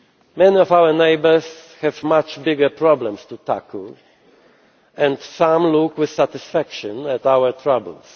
Many of our neighbours have much bigger problems to tackle, and some look with satisfaction at our troubles.